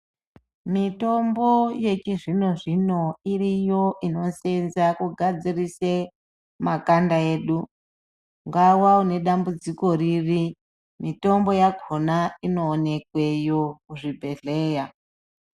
Mitombo yechizvino zvino iriyo ino senza kugadzirise makanda edu ngawa une dambudziko riri mitombo yakona inoonekweyo kuzvibhehleya .